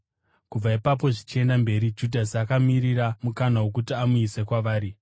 Kubva ipapo zvichienda mberi Judhasi akamirira mukana wokuti amuise kwavari.